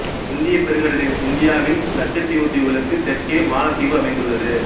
இந்தியப் பெருங்கடலில் இந்தியாவின் லட்சத்தீவு தீவுகளுக்கு தெற்கே மாலத்தீவு அமைந்துள்ளது